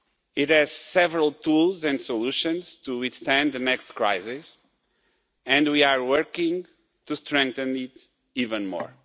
It has several tools and solutions to withstand the next crisis, and we are working to strengthen it even more.